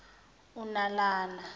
unalana